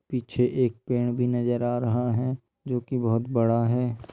पीछे एक पेड़ भी नजर आ रहा है जो कि बहुत बड़ा है।